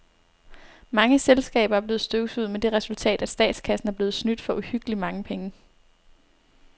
Mange selskaber er blevet støvsuget med det resultat, at statskassen er blevet snydt for uhyggeligt mange penge.